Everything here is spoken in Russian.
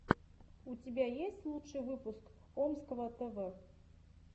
у тебя есть лучший выпуск омского тв